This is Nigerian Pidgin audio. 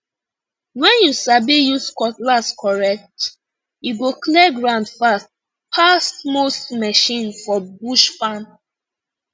when you sabi use cutlass correct e go clear ground fast pass most machine for bush farm